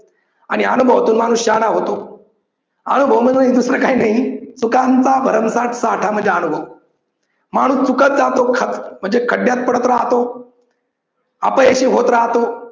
आणि अनुभवातून माणूस शहाणा होतो. अनुभव म्हणजे दुसरं काही नाही चुकांचा भरमसाठ साठा म्हणजे अनुभव. माणूस चुकत जातो खड्ड् म्हणजे खड्ड्यात पडत राहतो. अपयशी होत राहतो.